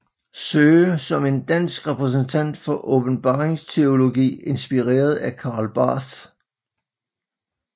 Søe som en dansk repræsentant for åbenbaringsteologi inspireret af Karl Barth